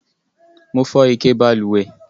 Mo fó ike balùwè